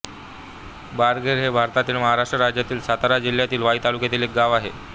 बाळेघर हे भारतातील महाराष्ट्र राज्यातील सातारा जिल्ह्यातील वाई तालुक्यातील एक गाव आहे